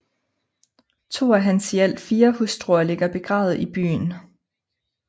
To af hans i alt fire hustruer ligger begravet i byen